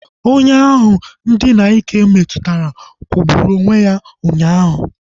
Onye ahụ ndina n'ike metụtara kwụgburu onwe ya ụnyaahụ